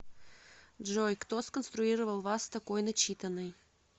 джой кто сконструировал вас такой начитанной